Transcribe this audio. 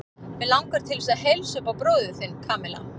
Mig langar til þess að heilsa upp á bróður þinn, Kamilla.